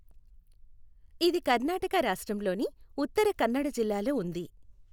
ఇది కర్ణాటక రాష్ట్రంలోని ఉత్తర కన్నడ జిల్లాలో ఉంది.